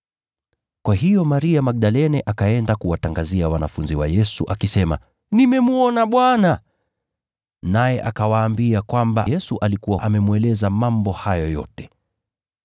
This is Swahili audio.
Kwa hiyo Maria Magdalene akaenda kuwatangazia wanafunzi wa Yesu, akisema, “Nimemwona Bwana!” Naye akawaambia kwamba Yesu alikuwa amemweleza mambo hayo yote.